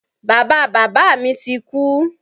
Bàba bàbá mi ti kú.